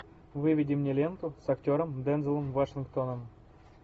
выведи мне ленту с актером дензелом вашингтоном